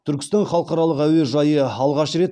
түркістан халықаралық әуежайы алғаш рет